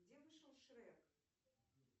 где вышел шрек